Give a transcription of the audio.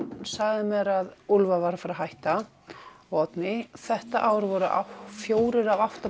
sagði mér að Úlfar væri að fara að hætta og Oddný þetta ár voru fjórir af átta